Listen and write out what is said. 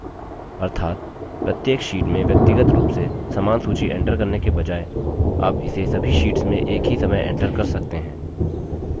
अर्थात प्रत्येक sheet में व्यक्तिगत रूप से समान सूची enter करने के बजाय आप इसे सभी शीट्स में एक ही समय enter कर सकते हैं